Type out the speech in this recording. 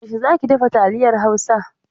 Yaushe za ki dafa taliyar Hausa?